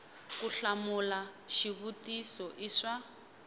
ku hlamula xivutiso i swa